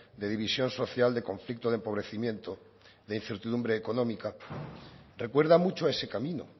de división social de conflicto de empobrecimiento de incertidumbre económica recuerda mucho ese camino